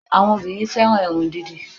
Àwọn obìnrin fẹ́ràn irun dídì